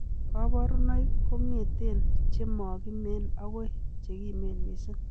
Koborunoik kong'eten chemokimen akoi chekimen missing'.